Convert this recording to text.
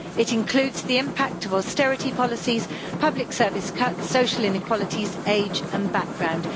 It includes the impact of austerity policies, public service cuts, social inequalities, age and background.